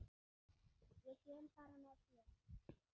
Ég kem bara með þér!